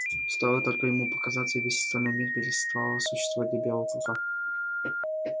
стоило только ему показаться и весь остальной мир переставал существовать для белого клыка